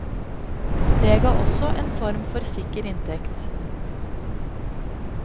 Det ga også en form for sikker inntekt.